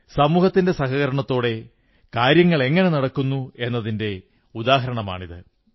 സമൂഹത്തിന്റെ സഹകരണത്തോടെ കാര്യങ്ങളെങ്ങനെ നടക്കുന്നുവെന്നതിന്റെ ഉദാഹരണമാണിത്